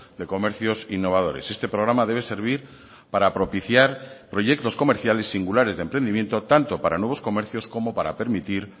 de comercios innovadores este programa debe servir para propiciar proyectos comerciales singulares de emprendimiento tanto para nuevos comercios como para permitir